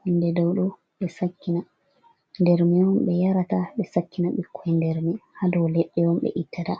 hunde dow ɗo ɓe sakina, nder man on ɓe yarata, ɓe sakina ɓikkon nder mi ha dow leɗɗe on ɓe ittata.